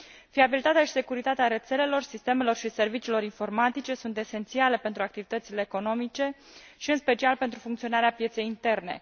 Fiabilitatea și securitatea rețelelor, sistemelor și serviciilor informatice sunt esențiale pentru activitățile economice și, în special, pentru funcționarea pieței interne.